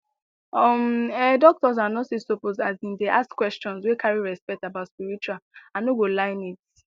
um ehh doctors and nurses suppose asin dey ask questions wey carry respect about spiritual i no go lie needs